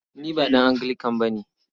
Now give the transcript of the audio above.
Ni ba ɗan Anglican ba ne.